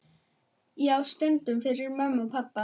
Já, stundum fyrir mömmu og pabba.